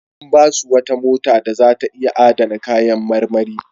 An ba su wata mota da za ta iya adana kayan marmari.